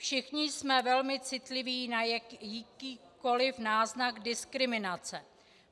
Všichni jsme velmi citliví na jakýkoli náznak diskriminace.